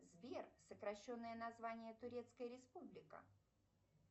сбер сокращенное название турецкая республика